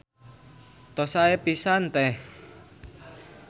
Tos sae pisan Teh.